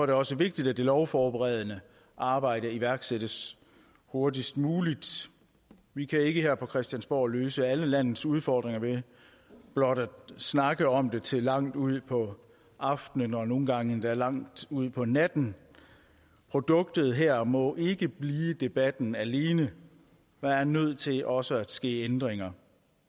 det også vigtigt at det lovforberedende arbejde iværksættes hurtigst muligt vi kan ikke her på christiansborg løse alle landets udfordringer ved blot at snakke om det til langt ud på aftenen og nogle gange endda langt ud på natten produktet her må ikke blive debatten alene der er nødt til også at ske ændringer